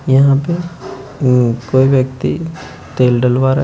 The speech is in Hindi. यहां पे कोई व्यक्ति तेल डलवा रहे हैं।